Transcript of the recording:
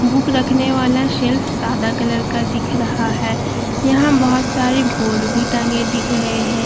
Book रखने वाला shelf सादा कलर का दिख रहा है यहाँ बहुत सारे बोर्ड भी टंगे दिख रहे हैं।